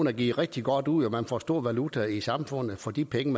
er givet rigtig godt ud og man får stor valuta i samfundet for de penge